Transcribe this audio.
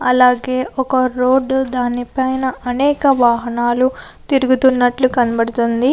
అలాగే ఒక రోడ్డు దాని పైన అనేక వాహనాలు తిరుగుతున్నట్లు కనబడుతుంది.